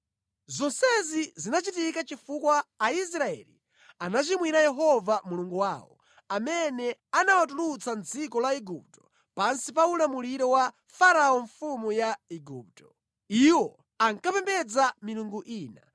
Zonsezi zinachitika chifukwa Aisraeli anachimwira Yehova Mulungu wawo, amene anawatulutsa mʼdziko la Igupto pansi pa ulamuliro wa Farao mfumu ya Igupto. Iwo ankapembedza milungu ina,